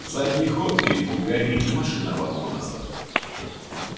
задний ход крикнул гарри и машина рванула назад